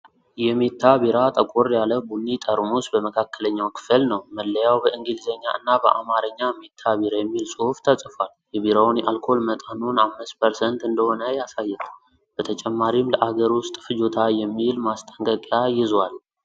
የሜታ ቢራ ጠቆር ያለ ቡኒ ጠርሙስ በመካከለኛው ክፍል ነው። መለያው ላይ በእንግሊዘኛ እና በአማርኛ "ሜታ ቢራ" የሚል ጽሑፍ ተፅፏል። የቢራውን የአልኮል መጠኑን 5% እንደሆነ ያሳያል። በተጨማሪም "ለአገር ውስጥ ፍጆታ" የሚል ማስጠንቀቂያ ይዟል።